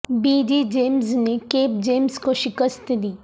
be G James نے Kip James کو شکست دی